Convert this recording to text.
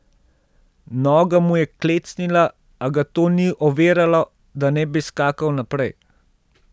Noga mu je klecnila, a ga to ni oviralo, da ne bi skakal naprej.